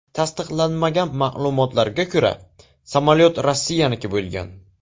Tasdiqlanmagan ma’lumotlarga ko‘ra, samolyot Rossiyaniki bo‘lgan.